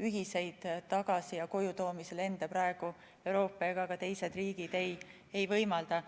ühiseid tagasi- ja kojutoomise lende praegu Euroopa ega ka teised riigid ei võimalda.